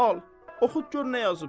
Al, oxut gör nə yazıb.